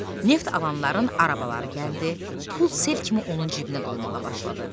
Neft alanların arabaları gəldi, pul sel kimi onun cibinə dolmağa başladı.